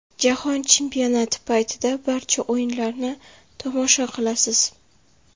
Jahon chempionati paytida barcha o‘yinlarni tomosha qilasiz.